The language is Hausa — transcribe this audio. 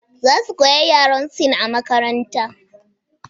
Za su koyi yaran Sin a makaranta